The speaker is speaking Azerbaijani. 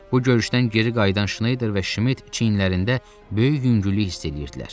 Bu görüşdən geri qayıdan Şneyder və Şmit çiyinlərində böyük yüngüllük hiss eləyirdilər.